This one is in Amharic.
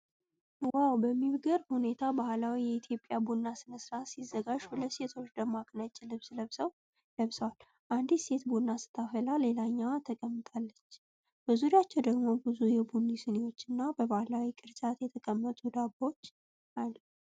ዋው! በሚገርም ሁኔታ ባህላዊ የኢትዮጵያ ቡና ሥነ ሥርዓት ሲዘጋጅ ሁለት ሴቶች ደማቅ ነጭ ልብስ ለብሰዋል። አንዲቷ ሴት ቡና ስታፈላ፣ ሌላኛዋ ተቀምጣለች፤ በዙሪያቸው ደግሞ ብዙ የቡና ስኒዎችና በባህላዊ ቅርጫት የተቀመጡ ዳቦዎች አሉ።